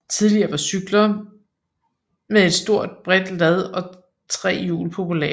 Tidligere var cykler med et stort bredt lad og tre hjul populære